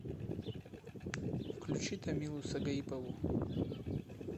включи тамилу сагаипову